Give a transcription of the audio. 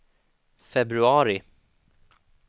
februari